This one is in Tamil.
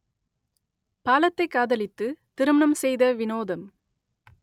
பாலத்தைக் காதலித்து திருமணம் செய்த வினோதம்